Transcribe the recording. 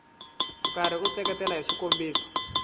karhi u seketela hi swikombiso